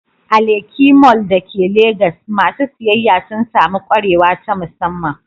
A Lekki Mall da ke Legas, masu siyayya sun sami kwarewa ta musamman.